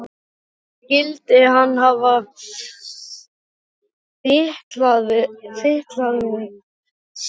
Skyldi hann hafa fitlað við sig þá?